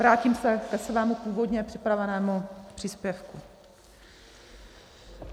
Vrátím se ke svému původně připravenému příspěvku.